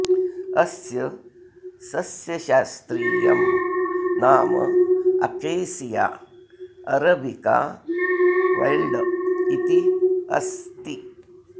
अस्य सस्यशास्त्रीयं नाम अकेसिया अरबिका वैल्ड् इति अस्ति